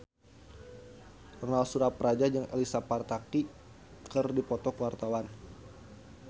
Ronal Surapradja jeung Elsa Pataky keur dipoto ku wartawan